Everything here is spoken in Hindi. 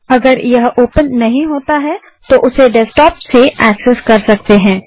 यदि यह ओपन नहीं होता है तो आप उसे डेस्कटॉप से एक्सेस कर सकते हैं